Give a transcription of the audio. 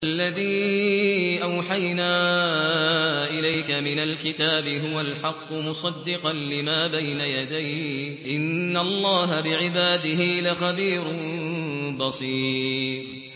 وَالَّذِي أَوْحَيْنَا إِلَيْكَ مِنَ الْكِتَابِ هُوَ الْحَقُّ مُصَدِّقًا لِّمَا بَيْنَ يَدَيْهِ ۗ إِنَّ اللَّهَ بِعِبَادِهِ لَخَبِيرٌ بَصِيرٌ